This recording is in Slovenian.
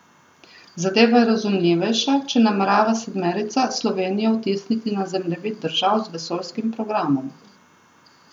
Zadeva je razumljivejša, če namerava sedmerica Slovenijo vtisniti na zemljevid držav z vesoljskim programom.